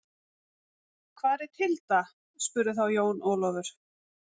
Hvar er Tilda spurði þá Jón Ólafur.